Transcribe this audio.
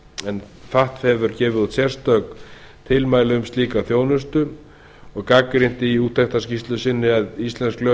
en fatf hefur gefið út sérstakt tilmæli um slíka þjónustu fatf gagnrýnir í úttektarskýrslu sinni að íslensk lög